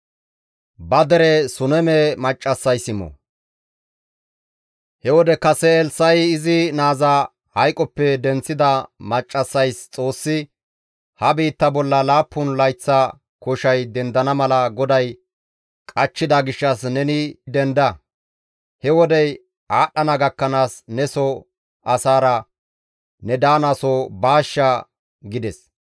He wode kase Elssa7i izi naaza hayqoppe denththida maccassays Xoossi, «Ha biitta bolla laappun layththa koshay dendana mala GODAY qachchida gishshas neni denda; he wodey aadhdhana gakkanaas neso asaara ne daanaso baashsha» gides.